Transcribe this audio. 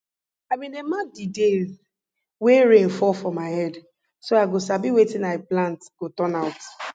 i bin dey mark the days wey rain fall for my head so i go sabi wetin i plant go turn out